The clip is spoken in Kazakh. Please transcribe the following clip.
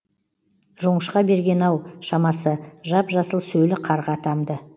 жоңышқа берген ау шамасы жап жасыл сөлі қарға тамды